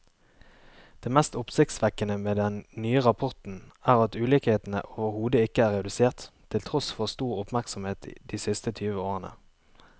Det mest oppsiktsvekkende med den nye rapporten er at ulikhetene overhodet ikke er redusert, til tross for stor oppmerksomhet de siste tyve årene.